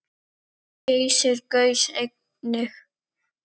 Geysir gaus einnig.